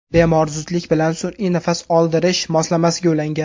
Bemor zudlik bilan sun’iy nafas oldirish moslamasiga ulangan.